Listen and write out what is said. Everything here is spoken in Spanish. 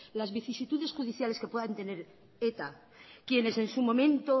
las vicisitudes judiciales que puedan tener eta quien en su momento